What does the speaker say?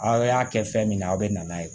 Aw y'a kɛ fɛn min na a bɛ na n'a ye